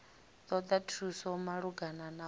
ṱoḓa thuso malugana na u